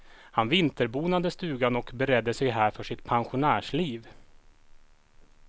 Han vinterbonade stugan och beredde sig här för sitt pensionärsliv.